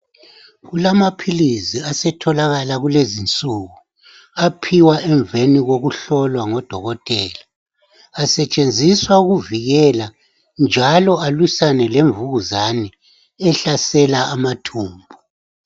Kulamaphilizi asetholakala kulezinsuku, aphiwa emveni kokuhlolwa ngodokotela. Asetshenziswa ukuvikela njalo alwisane lemvukuzane ehlasela amathumbu.